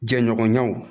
Jɛɲɔgɔnya